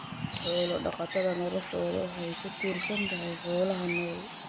Xoolo-dhaqatada noloshoodu waxay ku tiirsan tahay xoolaha nool.